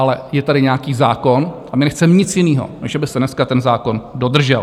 Ale je tady nějaký zákon a my nechceme nic jiného, než aby se dneska ten zákon dodržel.